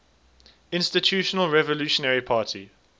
institutional revolutionary party